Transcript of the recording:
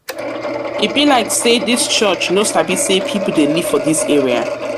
be like sey dis church no sabi sey pipu dey live for dis area.